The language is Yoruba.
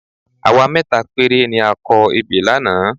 Àwa mẹ́ta péré ni a kọ ebè lánàá